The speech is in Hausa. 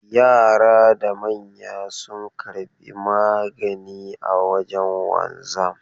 Yara da manya sun karbi magani a wajen wanzan.